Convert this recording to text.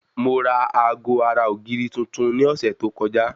Mo ra aago ara ògiri tuntun ní ọ̀sẹ̀ tó kọjá